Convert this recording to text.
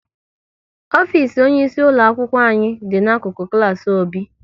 Ofisi onye isi ulo akwụkwọ anyị dị n'akụkụ klas Obi